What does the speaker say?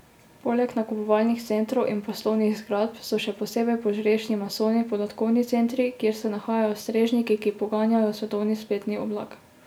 Poleg nakupovalnih centrov in poslovnih zgradb, so še posebej požrešni masovni podatkovni centri, kjer se nahajajo strežniki, ki poganjajo svetovni spletni oblak.